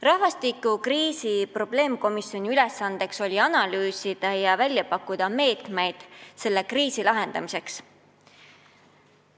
Rahvastikukriisi probleemkomisjoni ülesanne oli analüüsida ja välja pakkuda meetmeid selle kriisi lahendamiseks.